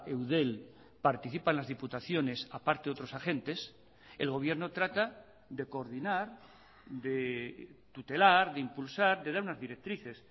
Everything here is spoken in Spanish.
eudel participan las diputaciones a parte de otros agentes el gobierno trata de coordinar de tutelar de impulsar de dar unas directrices